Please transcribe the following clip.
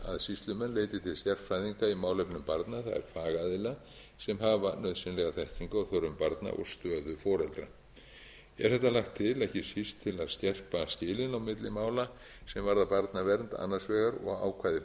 sérfræðinga í málefnum barna það er fagaðila sem hafa nauðsynlega þekkingu á þörfum barna og stöðu foreldra er þetta lagt til ekki síst til að skerpa skilin á milli mála sem varða barnavernd annars vegar og ákvæði